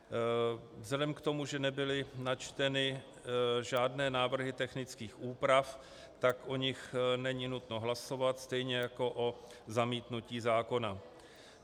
Vzhledem k tomu, že nebyly načteny žádné návrhy technických úprav, tak o nich není nutno hlasovat, stejně jako o zamítnutí zákona.